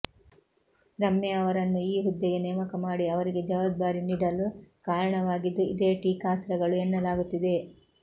ರಮ್ಯಾ ಅವರನ್ನು ಈ ಹುದ್ದೆಗೆ ನೇಮಕ ಮಾಡಿ ಅವರಿಗೆ ಜವಾಬ್ದಾರಿ ನಿಡಲು ಕಾರಣವಾಗಿದ್ದು ಇದೇ ಟೀಕಾಸ್ತ್ರಗಳು ಎನ್ನಲಾಗುತ್ತಿದೆ